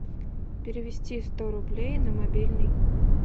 перевести сто рублей на мобильный